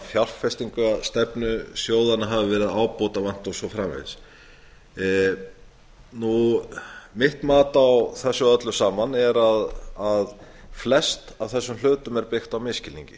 fjárfestingarstefnu sjóðanna hafi verið ábótavant og svo framvegis mitt mat á þessu öllu saman er að flest af þessum hlutum er byggt á